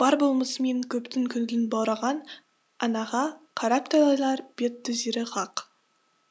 бар болмысымен көптің көңілін баураған анаға қарап талайлар бет түзері хақ